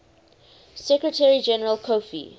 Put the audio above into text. secretary general kofi